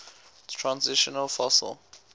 transitional fossil